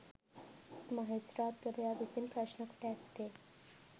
මහේස්ත්‍රාත්වරයා විසින් ප්‍රශ්නකොට ඇත්තේ